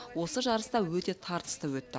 осы жарыста өте тартысты өтті